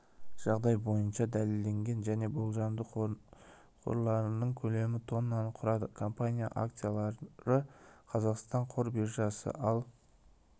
жағдай бойынша дәлелденген және болжамды қорларының көлемі тоннаны құрады компанияныңакциялары қазақстан қор биржасында ал